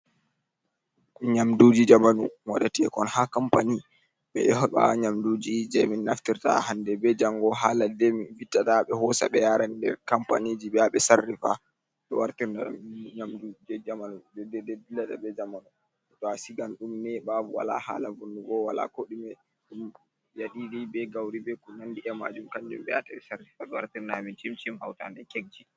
Nyamduji jamanu, waɗateengol ha kampani. Ɓe ɗo heɓa nyamduji je min naftirta hande be jango ha ladde min vittata ɓe hosa ɓe yaran nder kampaniji ɓe ya ɓe sarrifa. Ɓe wartira ɗum nyamdu je jamanu be ni je dillata be jamanu to a sigan ɗum neyɓa wala haala vunnugo wala kooɗume. Yaɗiiri, be gauri, be ko nandi e maajum kanjum be yaata ɓe sarrifa ɓe wara ɓe wamma amin cimcim hawtaaɗe kekji.